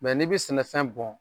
Mɛ n'i bɛ sɛnɛfɛn bɔn